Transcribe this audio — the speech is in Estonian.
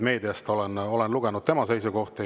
Meediast olen lugenud tema seisukohti.